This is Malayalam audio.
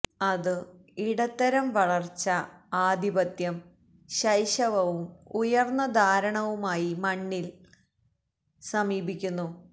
അതു ഇടത്തരം വളർച്ച ആധിപത്യം ശൈശവവും ഉയർന്ന ധാരണവുമായി മണ്ണിൽ ന് സമീപിക്കുന്നു